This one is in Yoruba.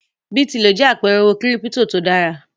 Bí Tilo jẹ́ àpẹẹrẹ owó kírípító tó dára.